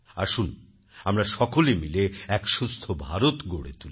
আসুন আমরা সকলে মিলে এক সুস্থ ভারত গড়ে তুলি